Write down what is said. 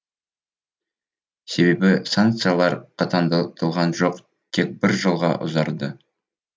себебі санкциялар қатаңдатылған жоқ тек бір жылға ұзарды